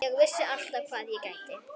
Ég vissi alltaf hvað ég gæti.